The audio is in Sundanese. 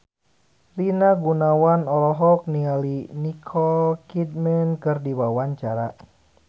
Rina Gunawan olohok ningali Nicole Kidman keur diwawancara